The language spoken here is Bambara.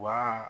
Wa